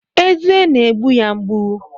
Eze na-egbu ya mgbu